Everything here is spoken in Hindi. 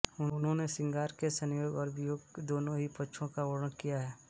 उन्होंने श्रृंगार के संयोग और वियोग दोनों ही पक्षों का वर्णन किया है